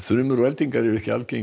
þrumur og eldingar eru ekki algengar